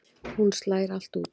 Hún slær allt út.